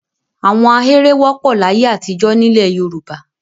Àwọn ahéré wọ́pọ̀ láyé àtijọ́ nílẹ̀ Yorùbá.